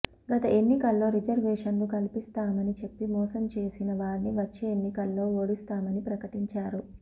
గత ఎన్నికల్లో రిజర్వేషన్లు కల్పిస్తామని చెప్పి మోసం చేసిన వారిని వచ్చే ఎన్నికల్లో ఓడిస్తామని పకటించారు